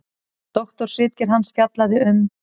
Doktorsritgerð hans fjallaði um